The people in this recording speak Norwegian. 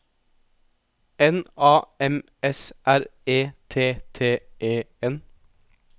N A M S R E T T E N